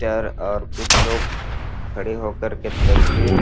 sir और कुछ लोग खड़े होकर के तस्वीर --